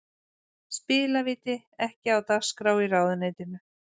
Spilavíti ekki á dagskrá í ráðuneytinu